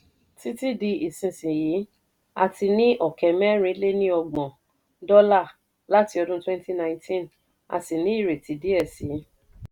títí di ìsìsiyìí a ti ní ọ̀kẹ́ mẹ̀rin-lé-ní-ọgbọ̀n dọ́là láti ọdún twenty nineteen a sì ní ìrètí díẹ̀ síi.